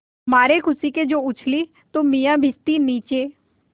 मारे खुशी के जो उछली तो मियाँ भिश्ती नीचे